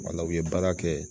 Wala u ye baara kɛ